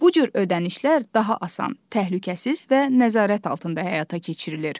Bu cür ödənişlər daha asan, təhlükəsiz və nəzarət altında həyata keçirilir.